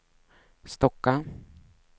Stocka